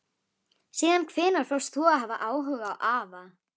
Síðan hvenær fórst þú að hafa áhuga á afa?